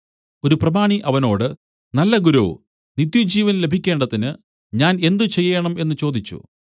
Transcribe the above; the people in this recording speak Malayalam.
ഒരു പ്രമാണി അവനോട് നല്ല ഗുരോ നിത്യജീവൻ ലഭിക്കേണ്ടതിനു ഞാൻ എന്ത് ചെയ്യേണം എന്നു ചോദിച്ചു